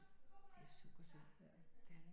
Det er super synd det er det